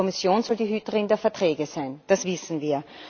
Die Kommission soll die Hüterin der Verträge sein das wissen wir.